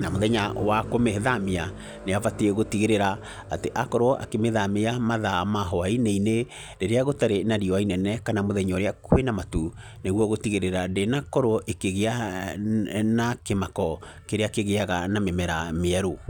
Na mũthenya wa kũmĩthamia, nĩ abatiĩ gũtigĩrĩra, atĩ akorwo akĩmĩthamia mathaa ma hwainĩ-inĩ, rĩrĩa gũtarĩ na riũa inene kana mũthenya kwĩna matu, nĩguo gũtigĩrĩra ndĩnakorwo ĩkĩgĩa na kĩmako kĩrĩa kĩgĩaga na mĩmera mĩerũ.